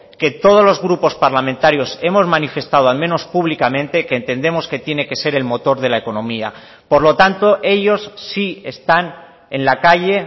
que todos los grupos parlamentarios hemos manifestado al menos públicamente que entendemos que tiene que ser el motor de la economía por lo tanto ellos sí están en la calle